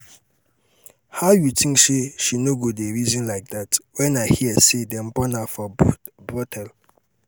how you think say she no go dey reason like dat? when i hear say dem born am for brothel